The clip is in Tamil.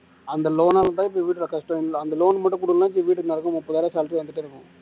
அந்த loan னாலதான் இப்ப வீடு கட்டற கஷ்டம் இல்லை அந்த loan மட்டும் கொடுக்கலைன்னா வீட்டுக்கு முப்பதாயிரம் salary வந்துட்டே இருக்கும்